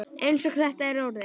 Eins og þetta er orðið.